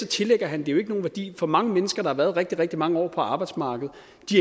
tillægger han det jo ikke nogen værdi for mange mennesker der har været rigtig rigtig mange år på arbejdsmarkedet